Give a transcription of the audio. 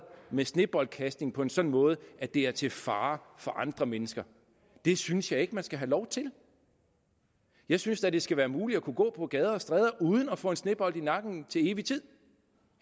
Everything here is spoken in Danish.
med sneboldkastning på en sådan måde at det er til fare for andre mennesker det synes jeg ikke man skal have lov til jeg synes da at det skal være muligt at gå på gader og stræder uden at få en snebold i nakken til evig tid